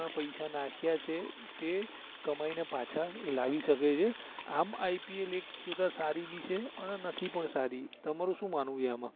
પૈસા નાખીયા છે તે કમાઈ ને પાછા લાવી શકે છે આમ IPL એક જોતા સારી બી છે અને નથી પણ સારી તમારું સુ માનવું છે એમાં